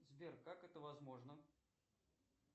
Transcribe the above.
сбер как это возможно